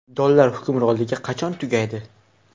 Dollar hukmronligi qachon tugaydi?